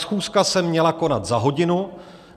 Schůzka se měla konat za hodinu.